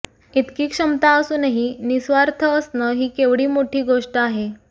इतकी क्षमता असूनही निस्वार्थ असणं ही केवढी मोठी गोष्ट आहे